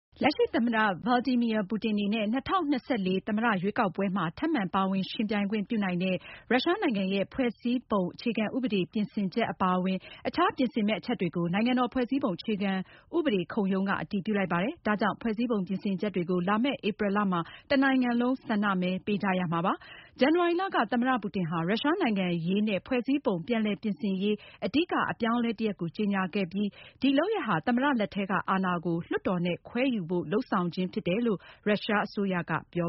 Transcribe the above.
လက်ရှိ သမ္မတ Vladimir Putin အနေနဲ့ ၂၀၂၄ သမ္မတရွေးကောက်ပွဲမှာ ထပ်မံ ပါဝင်ယှဉ်ပြိုင်ခွင့်ပြုနိုင်တဲ့ ရုရှားနိုင်ငံရဲ့ ဖွဲ့စည်းပုံအခြေခံဥပဒေ ပြင်ဆင်ချက် အပါအဝင် အခြား ပြင်ဆင်မယ့် အချက်တွေကို နိုင်ငံတော် ဖွဲ့စည်းပုံအခြေခံဥပဒေခုံရုံးက အတည်ပြုလိုက်ပါတယ်။ ဒါကြောင့် ဖွဲ့စည်းပုံပြင်ဆင်ချက်တွေကို လာမယ့် ဧပြီလမှာ တနိုင်ငံလုံး ဆန္ဒမဲပေးရမှာဖြစ်ပါတယ်။ ဇန်နဝါရီလက သမ္မတ Putin ဟာ ရုရှား နိုင်ငံရေးနဲ့ ဖွဲ့စည်းပုံ ပြန်လည်ပြင်ဆင်ရေး အဓိက အပြောင်းအလဲ တရပ်ကို ကြေညာခဲ့ပြီး ဒီလုပ်ရပ်ဟာ သမ္မတ လက်ထဲက အာဏာကို လွှတ်တော်နဲ့ ခွဲယူဖို့ လုပ်ဆောင်ခြင်းဖြစ်တယ်လို့ ရုရှားအစိုးရက ပြော